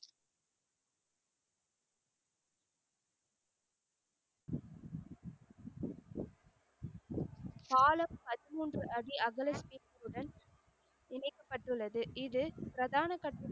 பாலம் பதீன்மூன்று அடி அகலத்துடன் இணைக்கப்பட்டு உள்ளது. இது பிரதான கட்டு.